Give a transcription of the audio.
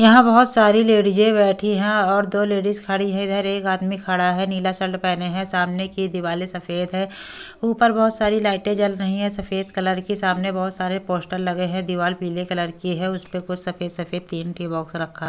यहां बहुत सारी लेडीज बैठी है और दो लेडीज खड़ी है इधर एक आदमी खड़ा है नीला शर्ट पहने है सामने की दिवाली सफेद है ऊपर बहुत सारी लाइटें जल रही है सफेद कलर की सामने बहुत सारे पोस्टर लगे हैं दीवार पीले कलर की है उस परे कुछ सफेद-सफेद तीन बॉक्स रखा है।